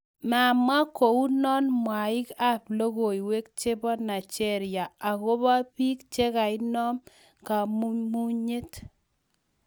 Mamwa kounan mwaig ap logoiwek cheba Naigeria agoba piig chegainom kamumunyet